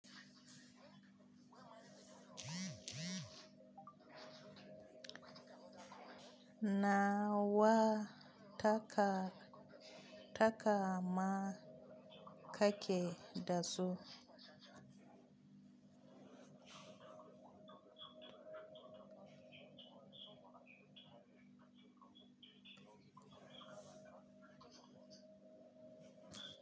Na wa taka takama ka ke da su?